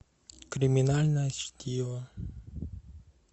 криминальное чтиво